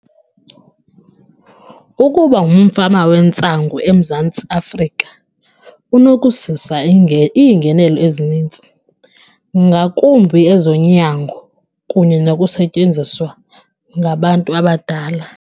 Ukuba ngumfama wentsangu eMzantsi Afrika kunokuzisa iingenelo ezinintsi, ngakumbi ezonyango kunye nokusetyenziswa ngabantu abadala.